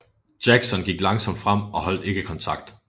Jackson gik langsomt frem og holdt ikke kontakt